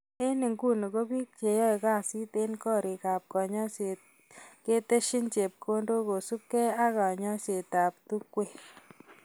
Eng inguni ko bik cheyaei kasit eng korik ab kanyoiset keteshin chepkondok kusubkei ak kanyoiset ab tungwek.